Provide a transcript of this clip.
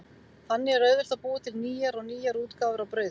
Þannig er auðvelt að búa til nýjar og nýjar útgáfur af brauði.